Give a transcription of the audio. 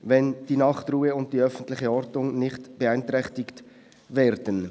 ] wenn die Nachtruhe und die öffentliche Ordnung nicht beeinträchtigt werden»?